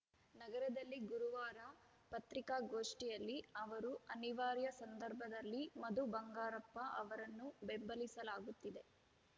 ನಗರದಲ್ಲಿ ಗುರುವಾರ ಪತ್ರಿಕಾಗೋಷ್ಠಿಯಲ್ಲಿ ಅವರು ಅನಿವಾರ್ಯ ಸಂದರ್ಭದಲ್ಲಿ ಮಧು ಬಂಗಾರಪ್ಪ ಅವರನ್ನು ಬೆಂಬಲಿಸಲಾಗುತ್ತಿದೆ